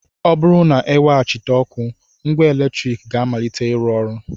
Ọ bụrụ na e weghachịte ọkụ, ngwa eletrik ga-amalite ịrụ ọrụ